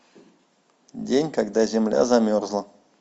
день когда земля замерзла